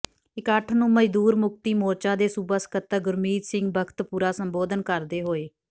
ਇਕੱਠ ਨੂੰ ਮਜ਼ਦੂਰ ਮੁਕਤੀ ਮੋਰਚਾ ਦੇ ਸੂਬਾ ਸਕੱਤਰ ਗੁਰਮੀਤ ਸਿੰਘ ਬਖਤਪੁਰਾ ਸੰਬੋਧਨ ਕਰਦੇ ਹੋਏ